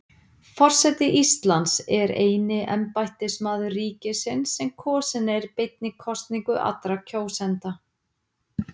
Forseti Íslands er eini embættismaður ríkisins sem kosinn er beinni kosningu allra kjósenda.